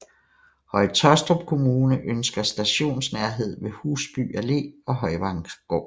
Høje Taastrup Kommune ønsker stationsnærhed ved Husby Allé og Højvanggård